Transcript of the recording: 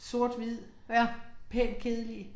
Sort hvid, pænt kedelige